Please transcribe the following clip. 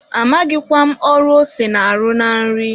Amaghịkwa m ọrụ ose na-arụ na nri.